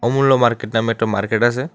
অমূল্য মার্কেট নামে একটা মার্কেট আসে।